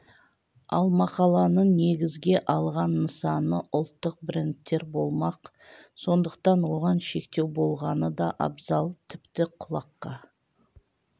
ал мақаланың негізге алған нысаны ұлттық брендтер болмақ сондықтан оған шектеу болғаны да абзал тіпті құлаққа